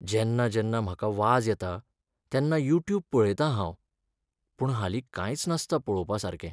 जेन्ना जेन्ना म्हाका वाज येता तेन्ना युट्यूब पळयतां हांव. पूण हालीं कांयच नासता पळोवपासारकें.